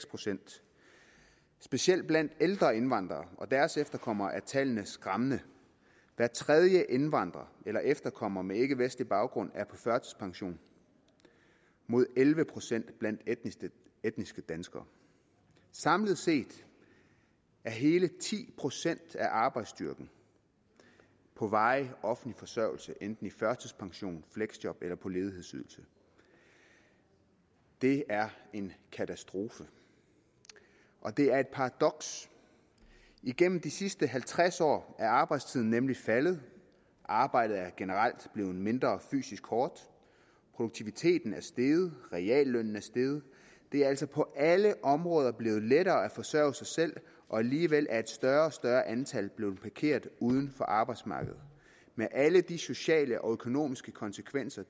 procent specielt blandt de ældre indvandrere og deres efterkommere er disse tal skræmmende hver tredje indvandrer eller efterkommer med ikkevestlig baggrund er på førtidspension mod elleve procent blandt etniske danskere samlet set er hele ti procent af arbejdsstyrken på varig offentlig forsørgelse enten i førtidspension fleksjob eller ledighedsydelse det er en katastrofe og det er et paradoks igennem de sidste halvtreds år er arbejdstiden nemlig faldet arbejdet er generelt blevet mindre fysisk hårdt produktiviteten er steget og reallønnen er steget det er altså på alle områder blevet lettere at kunne forsørge sig selv og alligevel er et større og større antal blevet parkeret uden for arbejdsmarkedet med alle de sociale og økonomiske konsekvenser